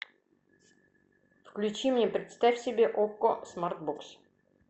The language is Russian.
включи мне представь себе окко смарт бокс